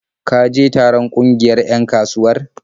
Ka je taron ƙungiyar 'yan kasuwar?